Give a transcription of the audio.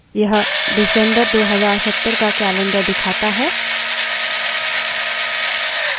यह december 2070 का calendar दिखाता है